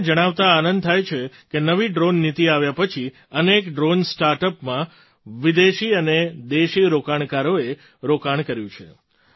મને તમને જણાવતા આનંદ થાય છે કે નવી ડ્રૉન નીતિ આવ્યા પછી અનેક ડ્રૉન સ્ટાર્ટ અપમાં વિદેશી અને દેશી રોકાણકારોએ રોકાણ કર્યું છે